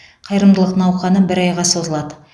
қайырымдылық науқаны бір айға созылады